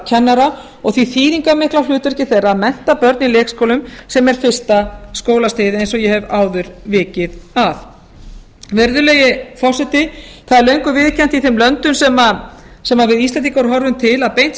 leikskólakennara og því þýðingarmikla hlutverki þeirra að mennta börn í leikskólum sem er fyrsta skólastigið eins og ég hef áður vikið að virðulegi forseti það er löngu viðurkennt í þeim löndum sem við íslendingar horfum til að beint